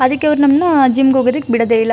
ಅದಕ್ಕೆ ಅವರು ನಮ್ಮಣ್ಣ ಜಿಮ್ ಗೆ ಹೋಗೋಕೆ ಬಿಡೋದೇ ಇಲ್ಲ.